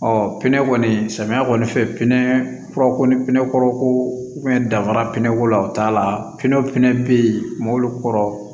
Ɔ pinɛ kɔni samiyɛ kɔni fɛ pinɛ furako ni pinɛkɔrɔ ko bɛ dafara pinɛko la o t'a la pinew fɛnɛ bɛ yen mobili kɔrɔ